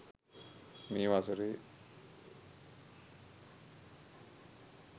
මේ වසරේ